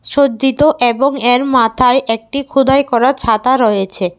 সজ্জিত এবং এর মাথায় একটি খুদাই করা ছাতা রয়েছে।